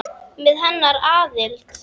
Með hennar aðild.